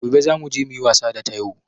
Gobe za muje muyi wasa da taiwo